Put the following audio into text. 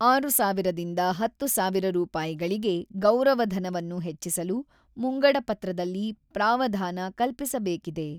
ಆರು ಸಾವಿರದಿಂದ ಹತ್ತು ಸಾವಿರ ರೂಪಾಯಿಗಳಿಗೆ ಗೌರವ ಧನವನ್ನು ಹೆಚ್ಚಿಸಲು ಮುಂಗಡಪತ್ರದಲ್ಲಿ ಪ್ರಾವಧಾನ ಕಲ್ಪಿಸಬೇಕಿದೆ.